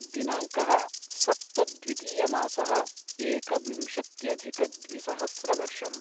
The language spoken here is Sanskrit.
दिनाङ्कः सप्त द्वितीयमासः एकविंशत्यधिकद्विसहस्रवर्षम्